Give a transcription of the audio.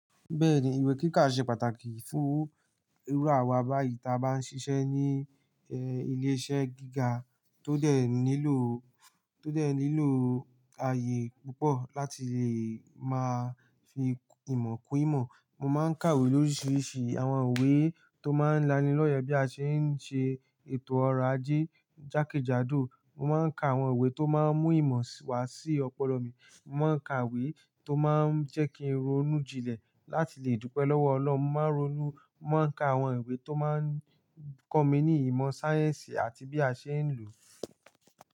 Bẹ́ẹ̀ni, ìwé kíkà ṣe pàtàkì fún irú àwa báyìí ta bá ń ṣiṣẹ́ ní ẹ́ ilé-iṣẹ́ gíga tó dẹ̀ nílò, tó dẹ̀ nílò ààyè púpọ̀ láti lè máa fi ìmọ̀ kún ìmọ̀. Mo máa ń kàwé lóríṣiríṣi àwọn iwe tó máa ń laniloye bí a ṣe ń ṣe ètò ọrọ̀ ajé, jákèjádò. Mo máa ń ka àwọn iwe tó máa ń mú ìmọ̀ wá sí ọpọlọ mi. Mo máa ń ka iwe tó máa ń jẹ́ kí n ronú jinlẹ̀ láti lè dúpẹ́ lọ́wọ́ Ọlọ́run. Mo máa ń ronú, mo máa ń ka àwọn ìwé tó máa ń kọ́ mi ní ìmọ̀ sáyẹ́ǹsì àti bí a ṣe ń lò.